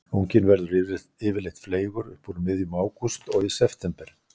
Unginn verður yfirleitt fleygur upp úr miðjum ágúst og í september.